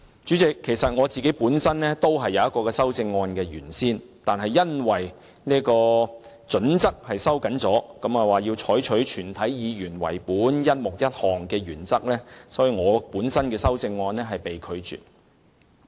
主席，我原先亦曾提出一項類似的修正案，但因主席收緊準則，須以全體議員為本，故在"一目一項"的原則下，我本人的修正案被拒。